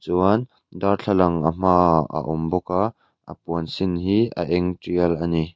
chuan darthlalang a hma ah a awm bawk a a puan sin hi a eng tial a ni.